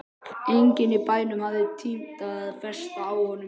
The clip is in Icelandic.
Enginn í bænum hafði tímt að festa á honum kaup.